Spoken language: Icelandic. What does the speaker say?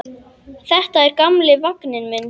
Þetta er gamli vagninn minn.